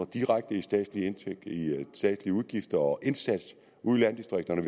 direkte i statslige udgifter og indsats ude i landdistrikterne